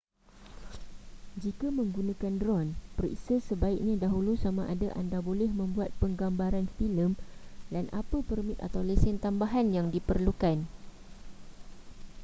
jika menggunakan dron periksa sebaiknya dahulu samada anda boleh membuat penggambaran filem dan apa permit atau lesen tambahan yang diperlukan